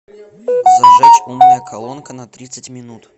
зажечь умная колонка на тридцать минут